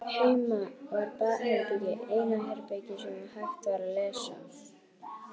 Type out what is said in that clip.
Heima var baðherbergið eina herbergið sem hægt var að læsa.